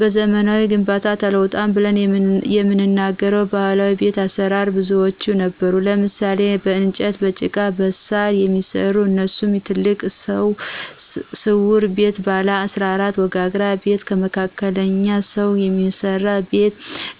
በዘመናዊ ግንባታ ተውጧል ብለን የምንናገረው ባህላዊ ቤት አሰራር ብዙዎች ነበሩ ለምሳሌ :- በእንጨትና በጭቃ በሳር የሚሰራ እነሱሙ የትልቅ ስው ቤት ባለ 14 ወጋግራ ቤት ለመካከለኞ ሰው የሚስራ ቤት